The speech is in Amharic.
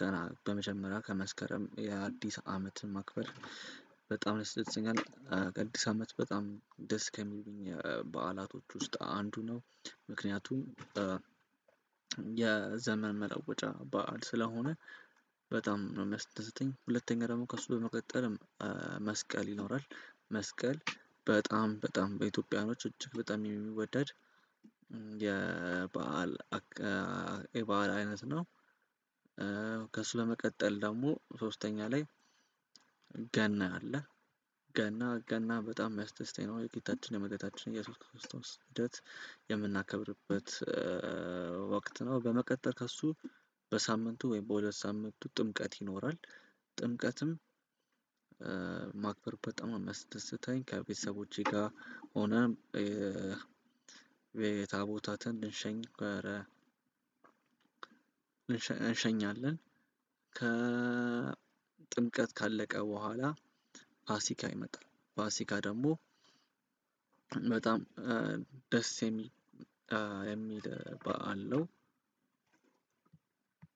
ገና በመጀመሪያው ከመስከረም የአዲስ አመትን ማክበር በጣም ያስደስተኛል። አዲስ አመት በጣም ደስ ከሚሉኝ በዓላቶች ውስጥ አንዱ ነው። ምክንያቱም የዘመን መለወጫ በዓል ስለሆነ በጣም ነው የሚያስደስተኝ። ሁለተኛ ደግሞ ከእሱ በመቀጠልም መስቀል ይኖራል። መስቀል በጣም በጣም በኢትዮጵያውያኖች እጅግ በጣም የሚወደድ የበአል የበአል አይነት ነው። ከሱ በመቀጠል ደግሞ ሶስተኛ ላይ ገና አለ። ገና ገና በጣም የሚያስደስተኝ ነው የጌታችን የመዳኒታችን እየሱስ ክርስቶስ ልደት የምናከብርበት ወቅት ነው። በመቀጠል ከእሱ በሳምንቱ ወይም በሁለት ሳምንቱ ጥምቀት ይኖራል። ጥምቀትም ማክበር በጣም ነው የሚያስደስተኝ። ከቤተሰቦቼ ጋር ሆነን ታቦታትን እንሸኝ ነበረ እንሸኛለን። ጥምቀት ካለቀ በኋላ ፋሲካ ይመጣል። ፋሲካ ደግሞ በጣም ደስ የሚል የሚል በዓል ነው።